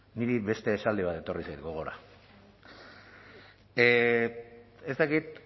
niri beste esaldi bat etorri zait gogora ez dakit